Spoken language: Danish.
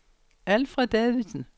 Alfred Davidsen